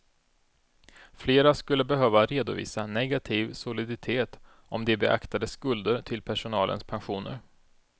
Flera skulle behöva redovisa negativ soliditet om de beaktade skulder till personalens pensioner.